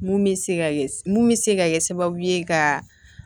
Mun bɛ se ka mun bɛ se ka kɛ sababu ye ka